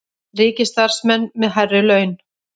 Ríkisstarfsmenn með hærri laun